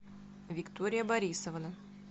виктория борисовна